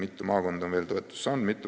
Mitu maakonda on veel toetust saanud?